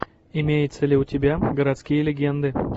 имеется ли у тебя городские легенды